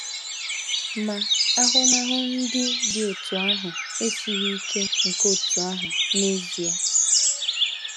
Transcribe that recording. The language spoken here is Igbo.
Ma, ahụmahụ ndị dị otú ahụ esighị ike nke otú ahụ n’ezie.